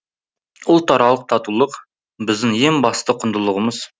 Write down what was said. ұлтаралық татулық біздің ең басты құндылығымыз